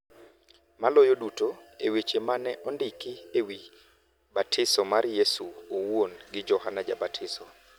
Maloyo duto, e weche ma ne ondiki e wi batiso mar Yesu owuon gi Johana Jabatiso, .